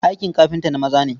Aikin kafinta na maza ne.